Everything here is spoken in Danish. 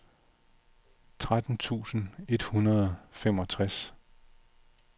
tretten tusind et hundrede og femogtres